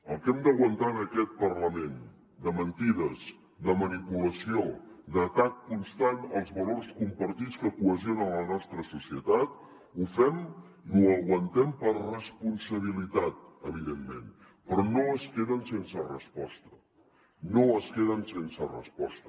el que hem d’aguantar en aquest parlament de mentides de manipulació d’atac constant als valors compartits que cohesionen la nostra societat ho fem i ho aguantem per responsabilitat evidentment però no es queden sense resposta no es queden sense resposta